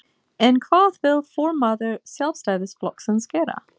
En hvað vill formaður Sjálfstæðisflokksins gera?